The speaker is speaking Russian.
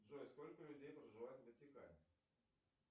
джой сколько людей проживает в ватикане